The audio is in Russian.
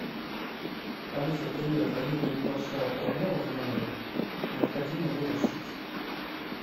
алиса привет возникла небольшая проблема в номере необходимо ее решить